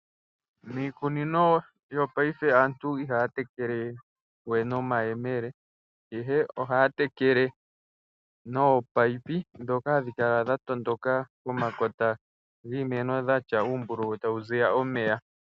Miikunino wopaife aantu ihaya tekelewe nomayemele, ihe ohaya tekele nominino ndhoka hadhi kala dha tondoka pomakota giimeno dhina uumbululu mboka hapu piti omeya.